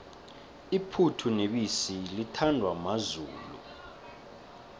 iphuthu nebisi lithandwa mazulu